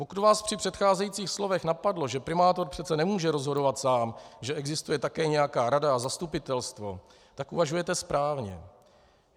Pokud vás při předcházejících slovech napadlo, že primátor přece nemůže rozhodovat sám, že existuje také nějaká rada a zastupitelstvo, tak uvažujete správně.